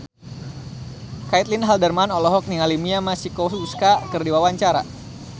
Caitlin Halderman olohok ningali Mia Masikowska keur diwawancara